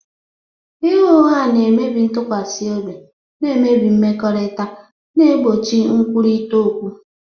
Ịgha ụgha na-emebi ntụkwasị obi, na-emebi mmekọrịta, na-egbochi nkwurịta okwu.